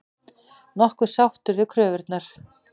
Nokkuð sáttur við kröfurnar